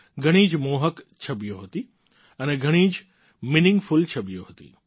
ઘણીં જ મોહક છબીઓ હતી અને ઘણી જ મીનીંગફૂલ છબીઓ હતી